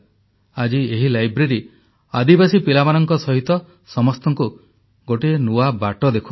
ଆଜି ଏହି ଲାଇବ୍ରେରୀ ଆଦିବାସୀ ପିଲାମାନଙ୍କ ସହିତ ସମସ୍ତଙ୍କୁ ଗୋଟିଏ ନୂଆ ବାଟ ଦେଖାଉଛି